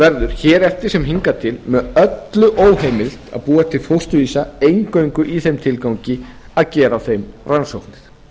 verður hér eftir sem hinar til með öllu óheimilt að búa til fósturvísa eingöngu í þeim tilgangi að gera á þeim rannsóknir frá siðfræðilegu